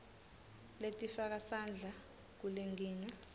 letifaka sandla kulenkinga